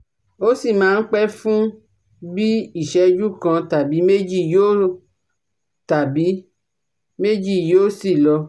Èyí máa ń ṣẹ̀lẹ̀ lóòrèkóòrè àmọ́ ìrora náà ti ti ń pọ̀ si